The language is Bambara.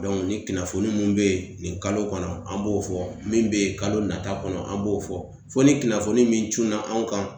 ni kunnafoni mun be yen nin kalo kɔnɔ an b'o fɔ, min be kalo nata kɔnɔ an b'o fɔ. Fo ni kunnafoni min cunna anw kan .